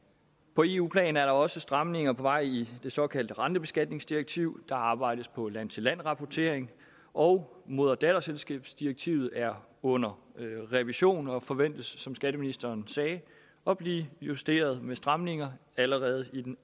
på eu plan er der også stramninger på vej i det såkaldte rentebeskatningsdirektiv der arbejdes på land til land rapportering og moder datterselskabsdirektivet er under revision og forventes som skatteministeren sagde at blive justeret med stramninger allerede i den